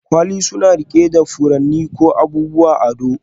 Kwalli suna riƙe da furanni ko abubuwan ado